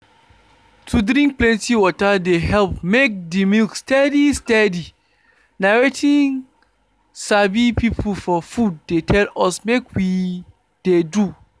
to drink plenty water dey help make the milk steady steady. na wetin sabi people for food dey tell us make we de do.